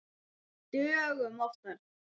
Dögum oftar.